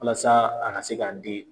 Walasa a ka se k'a den